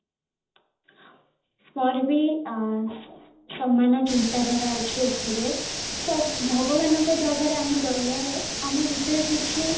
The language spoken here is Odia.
ମୋର ବି ସମାନ ଚିନ୍ତା ଧାରା ଅଛି ଏଥିରେ ସବୁ ଭଗବାନଙ୍କ ଜାଗାରେ ଆମେ ଗଲେ ଆମେ ଭିତରେ କିଛି